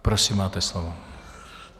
Prosím, máte slovo.